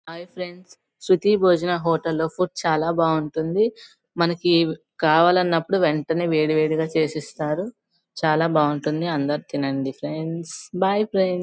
Hi friends Shruti Bhojana hotel లో food చాలా బాగుంటుంది మనకి కావాలన్నప్పుడు వెంటనే వేడి వేడి గ చేసి ఇస్తారు చాలా బాగుంటది అందరూ తినంది ఫ్రెండ్స్ బాయ్ ఫ్రెండ్స్ .